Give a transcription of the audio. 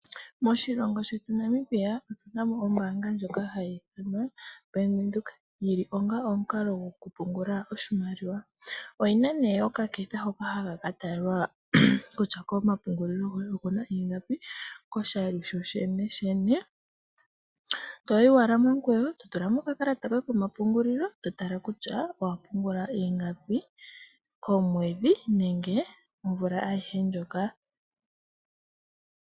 Moshilongo shetu Namibia otu na mo ombaanga ndjoka hayi ithanwa Bank Windhoek yili po onga omukalo gwokupungula oshimaliwa. Oyi na nee okaketha hoka haka katalwa kutya komapungulilo goye okuna ingapi koshali shosheneshene, toyi owala momukweyo eto tula mo okakalata koye komapungulilo eto tala kutya owapungula ingapi komwedhi nenge omvula ayihe ndjoka.